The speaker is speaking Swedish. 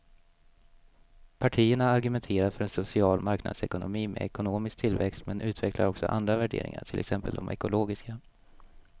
Partierna argumenterar för en social marknadsekonomi med ekonomisk tillväxt men utvecklar också andra värderingar, till exempel de ekologiska.